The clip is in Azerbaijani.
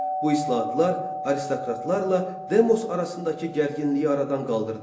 Bu islahatlar aristokratlarla demos arasındakı gərginliyi aradan qaldırdı.